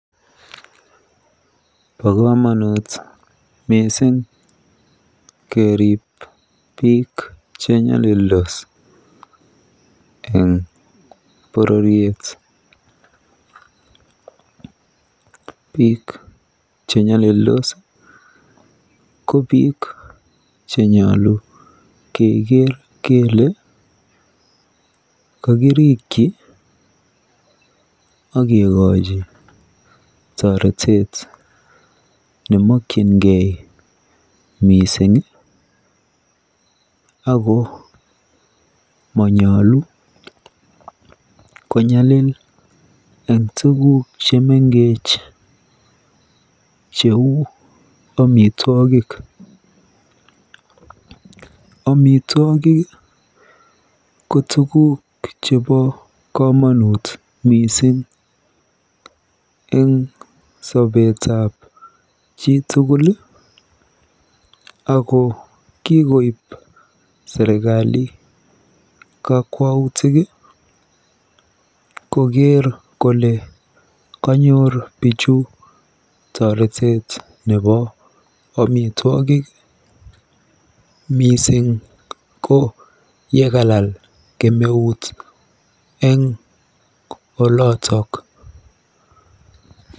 Bo komonut mising keriib biik chenyolildos eng bororiet. Biik chenyolildos ko biik chenyolu keker kere kakirikyi akekoji toretet nemokyingei mising ako monyolu konyalil eng tuguk chemengech cheu amitwogik. Amitwogik ko tuguk chebo komonut mising eng sobetab chi tugul ako kikoib serikali kakwautik koker kole kanyoor bichu toretet nebo amitwogik mising ko yekalal kemeut eng olotok.